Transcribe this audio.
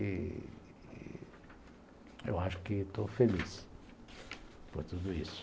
Eu acho que estou feliz por tudo isso.